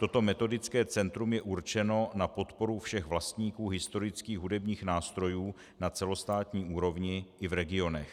Toto metodické centrum je určeno na podporu všech vlastníků historických hudebních nástrojů na celostátní úrovni i v regionech.